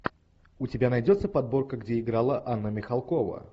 у тебя найдется подборка где играла анна михалкова